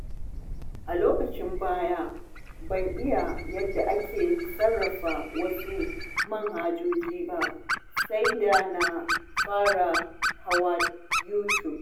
A lokacin baya, ban iya yadda ake sarrafa wasu manhajoji ba sai da na fara hawa YouTube.